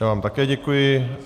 Já vám také děkuji.